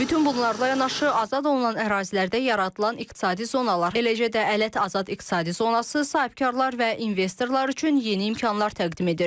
Bütün bunlarla yanaşı, azad olunan ərazilərdə yaradılan iqtisadi zonalar, eləcə də Ələt Azad İqtisadi Zonası sahibkarlar və investorlar üçün yeni imkanlar təqdim edir.